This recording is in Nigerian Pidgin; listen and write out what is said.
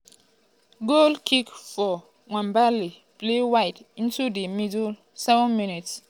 goal kick for nwabali played wide into di middle 7mins-